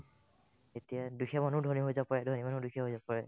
এতিয়া দুখীয়া মানুহও ধনী হৈ যাব পাৰে ন দুখীয়া হৈ যাব পাৰে